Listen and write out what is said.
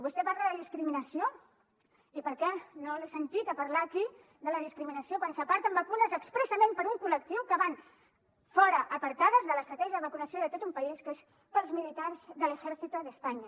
vostè parla de discriminació i per què no l’he sentit a parlar aquí de la discriminació quan s’aparten vacunes expressament per a un col·lectiu que van fora apartades de l’estratègia de vacunació de tot un país que és pels militars de l’ejército de españa